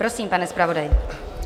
Prosím, pane zpravodaji.